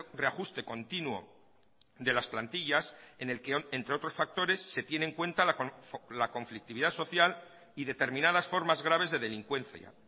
reajuste continuo de las plantillas en el que entre otros factores se tiene en cuenta la conflictividad social y determinadas formas graves de delincuencia